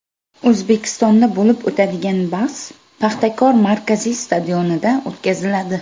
O‘zbekistonda bo‘lib o‘tadigan bahs Paxtakor markaziy stadionida o‘tkaziladi.